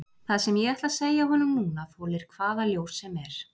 Það sem ég ætla að segja honum núna þolir hvaða ljós sem er.